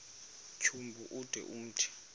tyambo ude umthi